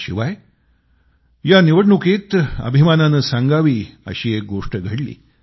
याशिवाय या निवडणुकीत अभिमानानं सांगावी अशी एक गोष्ट घडली